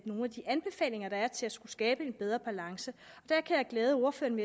nogle af de anbefalinger der er til at skabe en bedre balance der kan jeg glæde ordføreren